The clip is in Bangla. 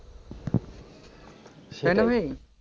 তাই না ভাই.